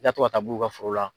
I ka to ka taa bu u ka foro la.